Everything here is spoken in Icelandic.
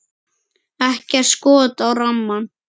Ekkert skot á rammann?